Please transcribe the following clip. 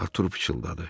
Artur pıçıldadı.